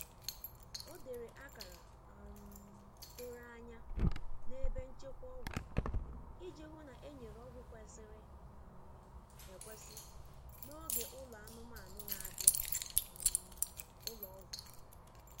O dere akara um doro anya na ebe nchekwa ọgwụ iji hụ na enyere ọgwụ kwesịrị um ekwesị n'oge ụlọ anụmanụ n'abia um ụlọ ọgwụ.